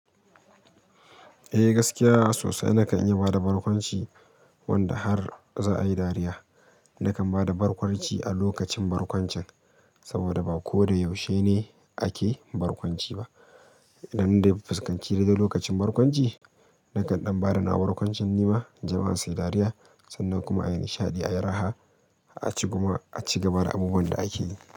Eh gaskiya sosai. Nakan iya bada barkwanci wanda har za'a yi dariya. Nakan bada barkwanci a lokacin barkwancin saboda ba ko da yaushe ne ake barkwanci ba. Dan dai fuskanci dai dai lokacin barkwanci, nakan ɗan bada na wa barkwancin ni ma, jama'a su yi dariya sannan kuma a yi nishaɗi, a yi raha, a cigaba da abubuwan da ake yi.